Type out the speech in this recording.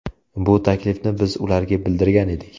Bu taklifni biz ularga bildirgan edik.